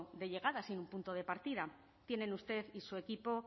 de llegada sino un punto de partida tienen usted y su equipo